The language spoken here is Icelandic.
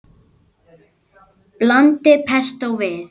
Blandið pestó við.